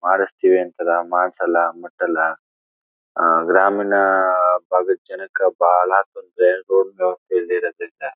ಮಾಡಿಸ್ತಿವಿ ಅಂತರ ಮಾಡ್ಸಲ್ಲ ಮುಟ್ಟಲ . ಅಹ್ ಅಹ್ ಗ್ರಾಮೀಣ ಭಾಗಕ್ಕೆನೆ ಬಹಳಷ್ಟು ಜನಕ್ಕೆ ಬಾಲ ಹಾಸ್ಪತ್ರೆ ಹೋಗ್ತಾ ಹೋಗ್ತಾ ಇದ್ ಇರದಿಲ್ಲ.